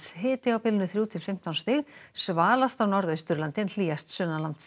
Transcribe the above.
hiti á bilinu þrjú til fimmtán stig á Norðausturlandi en hlýjast